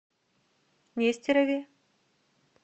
нестерове